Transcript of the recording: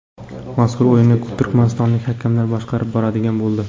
Mazkur o‘yinni turkmanistonlik hakamlar boshqarib boradigan bo‘ldi .